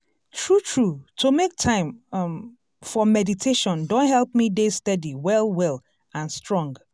true true to make time um for meditation don help me dey steady well well and strong.